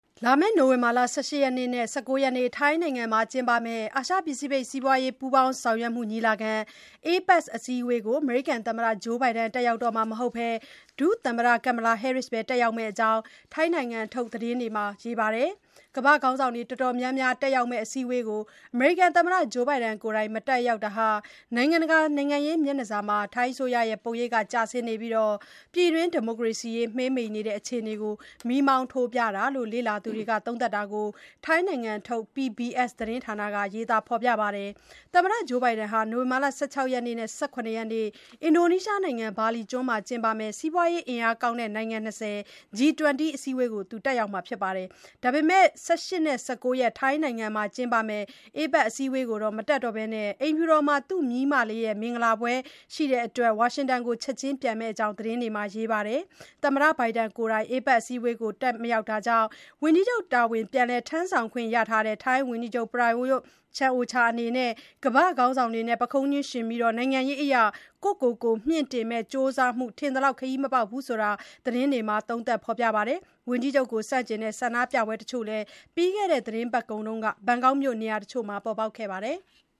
လာမယ့် နိုဝင်ဘာ ၁၈ နဲ့ ၁၉ ရက် ထိုင်းနိုင်ငံမှာကျင်းပမယ့် အာရှ ပစိဖိတ် စီးပွားရေး ပူးပေါင်းဆောင်ရွက်မှုညီလာခံ APEC ထိပ်သီးအစည်းအဝေးကို အမေရိကန် သမ္မတ Joe Biden တက်ရောက်တော့မှာမဟုတ်ဘဲ ဒုသမ္မတ Kamala Harris ပဲ တက်ရောက်မယ့်အကြောင်း ထိုင်းနိုင်ငံထုတ်သတင်းတွေမှာ ရေးပါတယ်။ ကမ္ဘာ့ခေါင်းဆောင်တွေ တော်တော်များများတက်ရောက်မယ့် အစည်းအဝေးကို အမေရိကန်သမ္မတ Joe Biden ကိုယ်တိုင်မတက်ရောက်တာဟာ နိုင်ငံတကာ နိုင်ငံရေး မျက်နှာစာမှာ ထိုင်းအစိုးရရဲ့ ပုံရိပ်ကျဆင်းနေပြီး ပြည်တွင်း ဒီမိုကရေစီရေး မှေးမှိန်နေတဲ့ အခြေအနေကို မီးမောင်းထိုးပြတာလို့ လေ့လာသူတွေ သုံးသပ် တာကို ထိုင်းနိုင်ငံထုတ် PBS သတင်းဌာနက ရေးပါတယ်။ သမ္မတ Joe Biden ဟာ နိုဝင်ဘာ ၁၆ ရက်နဲ့ ၁၇ ရက်နေ့ အင်ဒိုနီးရှားနိုင်ငံ ဘာလီကျွန်းမှကျင်းပမယ့် စီးပွားရေး အင်အားကောင်းတဲ့ နိုင်ငံ ၂၀ (G-20) အစည်းအဝေးကိုတော့ တက်ရောက်မှာပါ။ ဒါပေမယ့် နောက် ၁၈ ရက်နဲ့ ၁၉ ရက် ထိုင်းနိုင်ငံမှာ ကျင်းပမယ့် APEC အစည်းအဝေးကို မတက်တော့ဘဲ အိမ်ဖြူတော်မှာ သူ့မြေးမလေးရဲ့ မင်္ဂလာပွဲဧည့်ခံပွဲရှိတဲ့အတွက် ဝါရှင်တန်ကို ချက်ခြင်းပြန်မယ့်အကြောင်း သတင်းတွေမှာ ရေးပါတယ်။ သမ္မတ Biden ကိုယ်တိုင် APEC အစည်းအဝေးကို မတက်တာကြောင့် ဝန်ကြီးချုပ် တာဝန်ပြန်လည် ထမ်းဆောင်ခွင့်ရထားတဲ့ ထိုင်းဝန်ကြီးချုပ် Prayut Chan-o-cha အနေနဲ့ ကမ္ဘာ့ ခေါင်းဆောင်တွေနဲ့ ပုခုံးချင်းယှဉ်ပြီး နိုင်ငံရေးအရ ကိုယ်ကိုကိုယ် မြှင့်တင်မယ့် ကြိုးစားမှု ထင်သလောက် ခရီးမပေါက်ဘူးဆိုတာ သတင်းမှာ သုံးသပ် ဖေါ်ပြပါတယ်။ ဝန်ကြီးချုပ် Prayut Chan-o-cha ကို ဆန့်ကျင်တဲ့ ဆန္ဒပြပွဲတချို့လည်း ပြီးခဲ့တဲ့ သတင်းပတ်ကုန်က ဘန်ကောက်မြို့နေရာတချို့မှာ ပေါ်ပေါက်ခဲ့ပါတယ်။